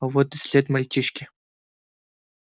а вот и след мальчишки